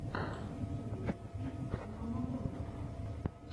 на ютюбе фильм ноаванэмбот